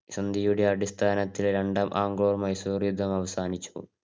സന്ധിയുടെ അടിസ്ഥാനത്തില് രണ്ടാം ആംഗ്ലോ മൈസൂര് യുദ്ധം അവസാനിച്ചു.